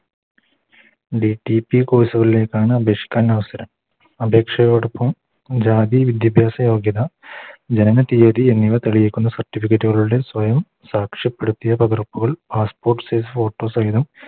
DTPCourse കളിലേക്കാണ് അപേക്ഷിക്കാൻ അവസരം അപേക്ഷയോടൊപ്പം ജാതി വിദ്യാഭ്യാസ യോഗ്യത ജനനതിയ്യതി എന്നിവ തെളിയിക്കുന്ന Certificate കളുടെ സ്വയം സാക്ഷ്യപ്പെടുത്തിയ പകർപ്പുകൾ Passport size photo സഹിതം